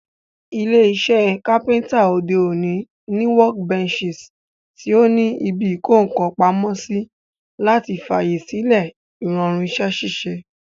Ilé isẹ́ carpenter òde òní ní workbenches tí o ní ibi ìkókàn pamósí, láti fàyè sílẹ̀ ìrọ̀rùn isẹ́ ṣíṣe